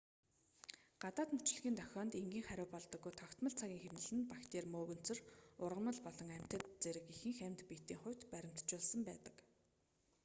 гадаад мөчлөгийн дохионд энгийн хариу болдоггүй тогтмол цагийн хэмнэл нь бактери мөөгөнцөр ургамал болон амьтад зэрэг ихэнх амьд биетийн хувьд баримтжуулсан байдаг